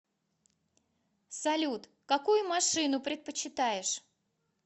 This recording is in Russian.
салют какую машину предпочитаешь